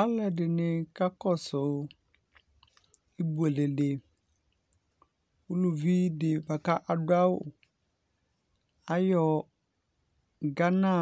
Alu ɛdini kakɔsʋ ibuele diUluvi di buakʋ adʋ awu ayɔ Ghana